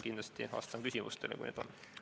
Kindlasti vastan küsimustele, kui neid on.